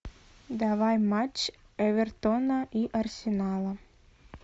давай матч эвертона и арсенала